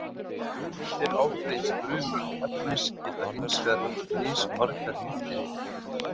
Frumeindir ákveðins frumefnis geta hins vegar haft mismargar nifteindir.